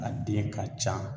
A den ka ca